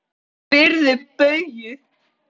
Spyrðu Bauju!